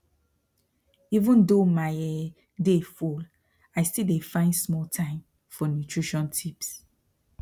even though my um day full i still dey find small time for nutrition tips